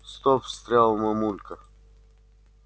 стоп встряла мамулька